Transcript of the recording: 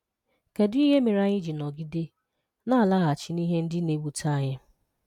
Kedu ihe mere anyị ji nọgide na-alaghachi na ihe ndị na-ewute anyị?